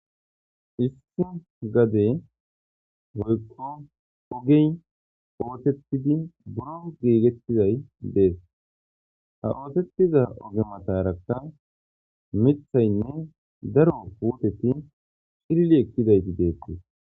Issi gade hoykko ogey ootettidi buro geegettizay dees ha ootettiza ogematarakka mithaynne daro puoteti shirli ekkidayti deettiis.